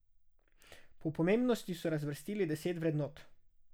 Po pomembnosti so razvrstili deset vrednot.